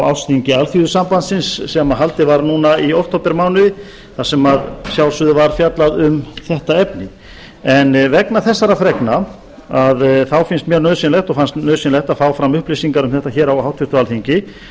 ársþingi alþýðusambandsins sem haldið var núna í októbermánuði þar sem að sjálfsögðu var fjallað um þetta efni en vegna þessara fregna þá finnst mér nauðsynlegt og fannst nauðsynlegt að frá fram upplýsingar um þetta hér á háttvirtu alþingi og hef